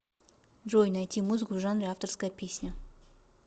джой найти музыку в жанре авторская песня